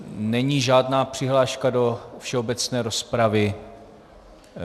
Není žádná přihláška do všeobecné rozpravy.